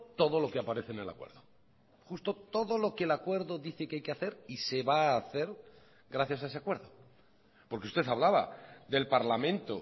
todo lo que aparece en el acuerdo justo todo lo que el acuerdo dice que hay que hacer y se va a hacer gracias a ese acuerdo porque usted hablaba del parlamento